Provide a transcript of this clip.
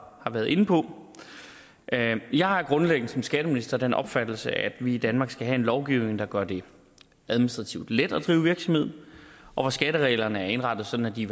været inde på jeg har grundlæggende som skatteminister den opfattelse at vi i danmark skal have en lovgivning der gør det administrativt let at drive virksomhed og hvor skattereglerne er indrettet sådan at de